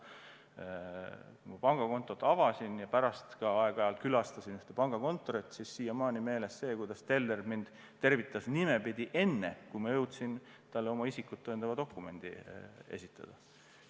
Mul on siiamaani meeles, et kui ma pangakontot avasin ja pärast ka aeg-ajalt ühes pangakontoris, käisin, siis teller tervitas mind nimepidi enne, kui ma jõudsin talle oma isikut tõendava dokumendi esitada.